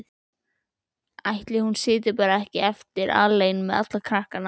Ætli hún sitji bara ekki eftir alein með alla krakkana?